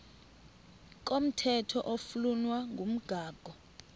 komthetho oflunwa ngumgago